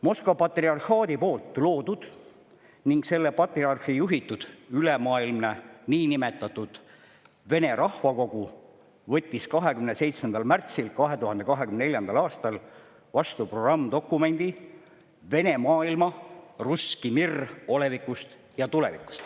Moskva patriarhaadi loodud ning selle patriarhi juhitud ülemaailmne niinimetatud Vene rahvakogu võttis 27. märtsil 2024. aastal vastu programmdokumendi "Vene maailma olevik ja tulevik".